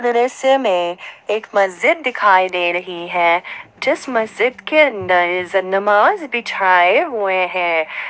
दृश्य मे एक मस्जिद दिखाई दे रही है जिस मस्जिद के अंदर जनमाज बिछाये हुए हैं।